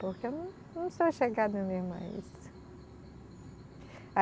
Porque eu não, não sou chegada mesmo a isso.